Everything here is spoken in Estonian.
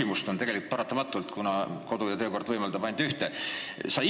Mul on paratamatult kaks küsimust, ehkki kodu- ja töökord võimaldab ainult ühe esitada.